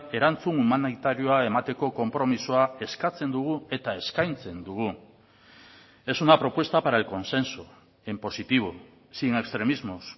erantzun humanitarioa emateko konpromisoa eskatzen dugu eta eskaintzen dugu es una propuesta para el consenso en positivo sin extremismos